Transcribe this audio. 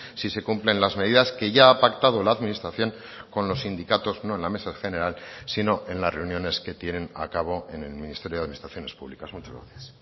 si se cumplen las medidas que ya ha pactado la administración con los sindicatos no en la mesa general sino en las reuniones que tienen a cabo en el ministerio de administraciones públicas muchas gracias